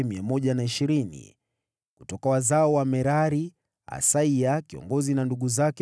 Kutoka wazao wa Merari, Asaya kiongozi na ndugu zake 220.